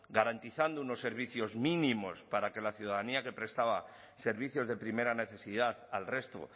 garantizando unos servicios mínimos para que la ciudadanía que prestaba servicios de primera necesidad al resto